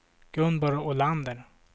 Gunborg Olander